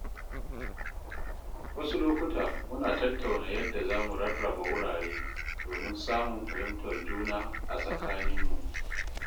Wasu lokuta muna tattauna yadda zamu rarraba wurare domin samun fahimtar juna a tsakaninmu.